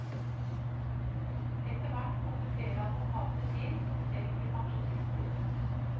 Etter hvert kom det flere advokater til som selv ble pensjonister.